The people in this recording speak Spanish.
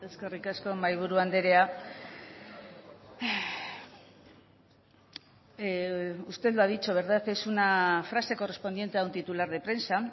eskerrik asko mahaiburu anderea usted lo ha dicho es una frase correspondiente a un titular de prensa